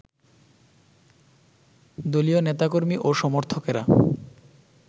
দলীয় নেতাকর্মী ও সমর্থকেরা